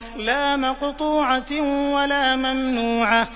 لَّا مَقْطُوعَةٍ وَلَا مَمْنُوعَةٍ